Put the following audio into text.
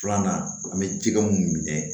Filanan an be jɛgɛ mun minɛ